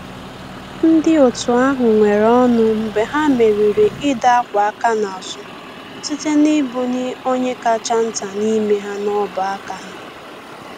Ndị otu ahụ nwere ọṅụ mgbe ha merịrị ịdọ akwa aka n’azụ, site na ibu ni onye kacha nta n’ime ha n’ubu aka ha.